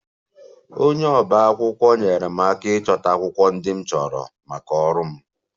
Onye ọba akwụkwọ nyeere m aka ịchọta akwụkwọ ndị m chọrọ maka ọrụ m